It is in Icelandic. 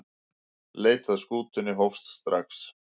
Leit að skútunni hófst strax.